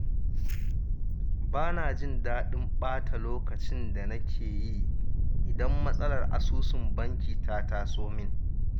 Ba na jin daɗin ɓata lokacin da nake yi idan matsalar asusun banki ta taso min